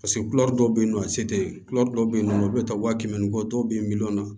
Paseke dɔw bɛ yen nɔ a se tɛ ye dɔw bɛ yen nɔ olu bɛ taa wa kɛmɛ ni kɔ dɔw bɛ yen miliyɔn na